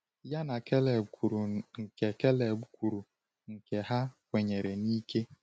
Ya na Kaleb kwuru nke Kaleb kwuru nke ha kwenyere n’ike.